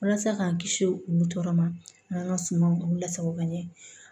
Walasa k'an kisi olu tɔɔrɔ ma an ka sumaw lasago ka ɲɛ